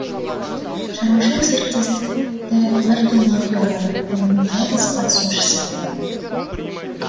шаруашылық серіктестікті бір тұлға құра алады ол оның жалғыз қатысушысы болады